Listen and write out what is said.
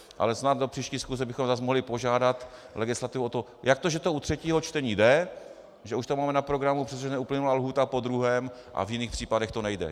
Ale snad do příští schůze bychom zase mohli požádat legislativu o to, jak to, že to u třetího čtení jde, že už to máme na programu, přestože neuplynula lhůta po druhém, a v jiných případech to nejde.